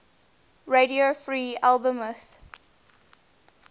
radio free albemuth